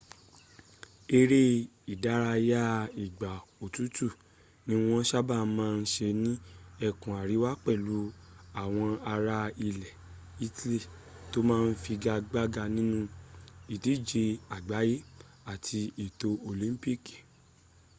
èré ìdárayá ìgbà òtútù ní wọ́n sábàá ma ń se ní ẹkùn àríwá pẹ̀lú àwọn ará ilẹ̀ italy tó ma ń figagbága nínú ìdíje àgbáyé àti ètò olympi